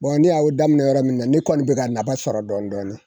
ni y'a u daminɛ yɔrɔ min na ne kɔni bɛ ka napa sɔrɔ dɔɔnin dɔɔnin.